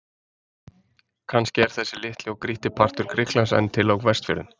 Kannski er þessi litli og grýtti partur Grikklands enn til á Vestfjörðum.